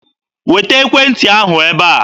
Weta ekwentị ahụ ebe a!